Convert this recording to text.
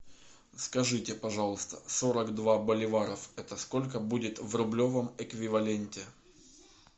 скажите пожалуйста сорок два боливаров это сколько будет в рублевом эквиваленте